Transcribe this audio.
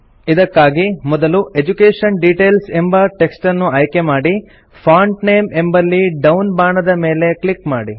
ಇದಕ್ಕಾಗಿ ಮೊದಲು education details ಎಂಬ ಟೆಕ್ಸ್ಟನ್ನು ಆಯ್ಕೆಮಾಡಿ ಫಾಂಟ್ ನೇಮ್ ಎಂಬಲ್ಲಿ ಡೌನ್ ಬಾಣದ ಮೇಲೆ ಕ್ಲಿಕ್ ಮಾಡಿ